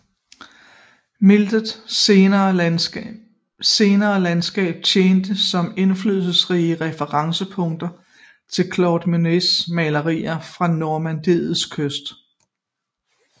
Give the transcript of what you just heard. Millet senere landskaber tjente som indflydelsesrige referencepunkter til Claude Monets malerier af Normandiets kyst